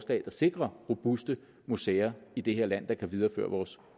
der sikrer robuste museer i det her land og som kan videreføre vores